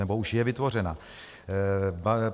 Nebo už je vytvořena.